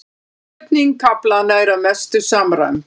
Uppsetning kaflanna er að mestu samræmd